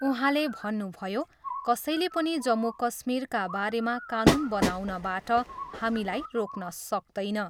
उहाँले भन्नुभयो, कसैले पनि जम्मू कश्मीरका बारेमा कानुन बनाउनबाट हामीलाई रोक्न सक्तैन।